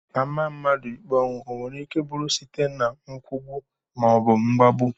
A maa mmadụ ikpe ọnwụ, ọ nwereike bụrụ site na nkwụgbu maọbụ mgbagbu